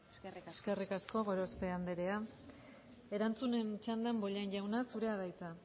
eskerrik asko eskerrik asko gorospe andrea erantzunen txandan bollain jauna zurea da hitza